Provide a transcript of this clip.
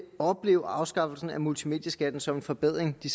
opleve afskaffelsen af multimedieskatten som en forbedring de